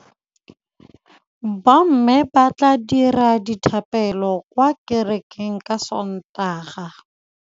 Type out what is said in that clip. Bommê ba tla dira dithapêlô kwa kerekeng ka Sontaga.